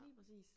Lige præcis